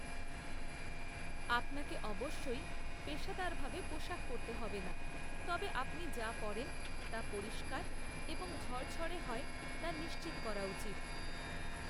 আপনাকে অবশ্যই পেশাদারভাবে পোশাক পরতে হবে না, তবে আপনি যা পরেন তা পরিষ্কার এবং ঝরঝরে হয় তা নিশ্চিত করা উচিত।